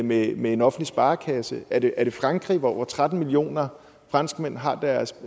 med en offentlig sparekasse er det er det frankrig hvor over tretten millioner franskmænd har deres